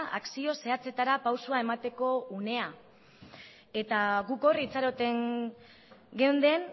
akzio zehatzetara pausoa emateko unea eta guk hor itxaroten geunden